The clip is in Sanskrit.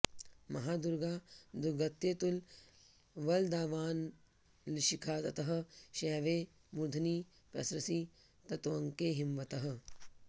महादुर्गा दुर्गत्यतुलवलदावानलशिखा ततः शैवे मूर्ध्नि प्रसरसि ततोऽङ्के हिमवतः